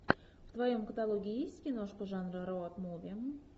в твоем каталоге есть киношка жанра роад муви